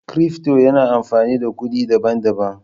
Cryfto yana amfani da kuɗi daban-daban.